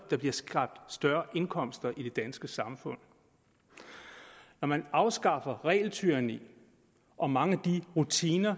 der bliver skabt større indkomster i det danske samfund når man afskaffer regeltyranni og mange af de rutiner